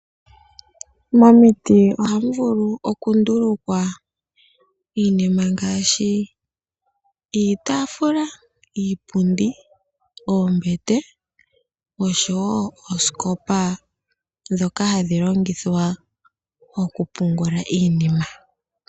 Momiti ohamu vulu okundulukwa iinima ngaashi iitaafula, iipundi, oombete noshowo oosikopa ndhoka hadhi longithwa mokupungula iinima.